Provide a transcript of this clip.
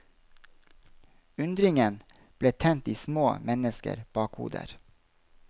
Undringen ble tent i små mennesker bakhoder.